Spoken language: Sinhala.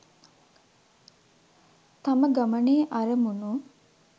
තම ගමනේ අරමුණු